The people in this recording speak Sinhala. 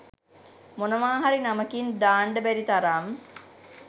මොනවා හරි නමකින් දාන්ඩ බැරි තරම්